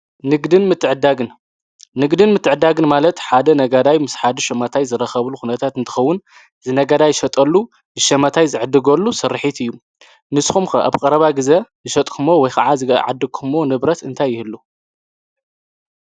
'ንግድን ምትዕድዳግን' ንግድን ምትዕድዳግን ማለት ሓደ ነጋዳይ ምስ ሓደ ሸማታይ ዝራኸብሉ ኩነታት እንትኸዉን ዝነጋዳይ ዝሸጠሉ ዝሸማታይ ዝዕገሉ ስርሒት እዩ ።ንስኹም ከ አብ ቀረባ ግዜ ዝሸጥኩሞ ወይ ከዓ ዝዓደኩሞ ንብረት እንታይ ይህሉ?